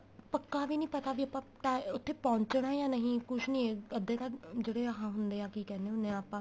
ਪੱਕਾ ਵੀ ਨੀਂ ਪਤਾ ਵੀ ਆਪਾਂ ਉਥੇ ਪਹੁੰਚਣਾ ਜਾਂ ਨੀਂ ਕੁੱਝ ਨੀਂ ਅੱਧੇ ਤਾਂ ਜਿਹੜੇ ਆ ਹੁੰਦੇ ਏ ਕੀ ਕਹਿਨੇ ਹੁਣੇ ਆ ਆਪਾਂ